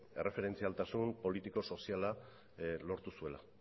erreferentzialtasun politiko soziala lortu zuela